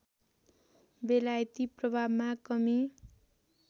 बेलायती प्रभावमा कमी